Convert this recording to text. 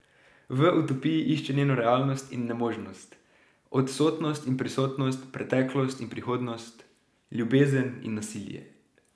V utopiji išče njeno realnost in nemožnost, odsotnost in prisotnost, preteklost in prihodnost, ljubezen in nasilje.